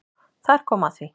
Þar kom að því